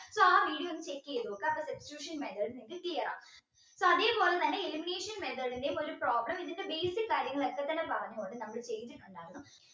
so ആ video ഒന്ന് check ചെയ്‌ത്‌ നോക്കുക substitution method click ചെയ്യണം so അതേ പോലെ തന്നെ elimination method ന്ടെയും ഒരു problem ഇതിന്ടെ basic കാര്യങ്ങളൊക്കെ തന്നെ പറഞ്ഞ് കൊടുത്തു അവര് ചെയ്യിപ്പിച്ചിട്ടുണ്ടാകാം